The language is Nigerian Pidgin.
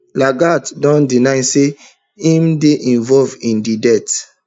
lagat don deny say im dey involved in di death